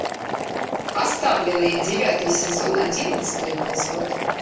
оставленные девятый сезон одиннадцатый эпизод